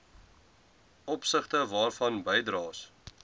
opsigte waarvan bydraes